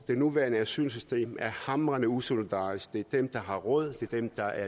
nuværende asylsystem er hamrende usolidarisk for det er dem der har råd det er dem der